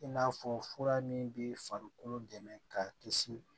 I n'a fɔ fura min bɛ farikolo dɛmɛ ka kisi